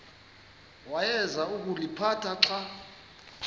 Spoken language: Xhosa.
awayeza kuliphatha xa